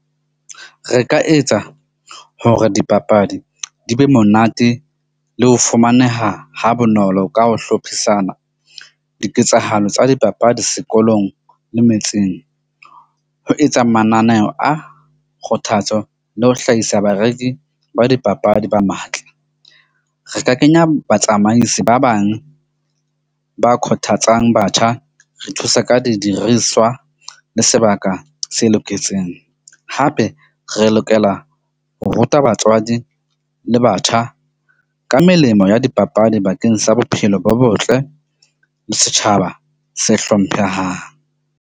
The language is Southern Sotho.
Re ka etsa hore dipapadi di be monate le ho fumaneha ha bonolo ka ho hlophisana diketsahalo tsa dipapadi sekolong le metseng, ho etsa mananeho a kgothatso le ho hlahisa bareki ba dipapadi ba matla. Re ka kenya batsamaisi ba bang ba kgothatsang batjha. Re thusa ka didiriswa le sebaka se loketseng. Hape re lokela ho ruta batswadi le batjha ka melemo ya dipapadi bakeng sa bophelo bo botle le setjhaba se hlomphehang.